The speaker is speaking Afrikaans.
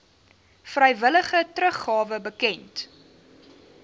vrywillige teruggawe bekend